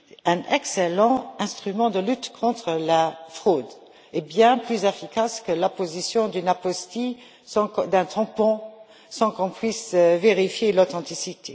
un excellent instrument de lutte contre la fraude, bien plus efficace que l'apposition d'une apostille, d'un tampon, sans qu'on puisse en vérifier l'authenticité.